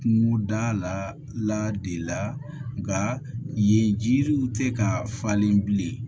Kungoda la de la nka yen jiriw tɛ ka falen bilen